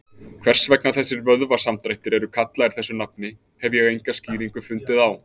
Hvers vegna þessir vöðvasamdrættir eru kallaðir þessu nafni hef ég enga skýringu fundið á.